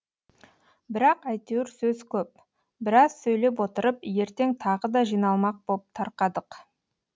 бірақ әйтеуір сөз көп біраз сөйлеп отырып ертең тағы да жиналмақ боп тарқадық